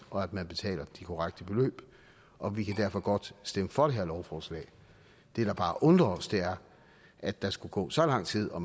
og at man betaler de korrekte beløb og vi kan derfor godt stemme for det her lovforslag det der bare undrer os er at der skulle gå så lang tid og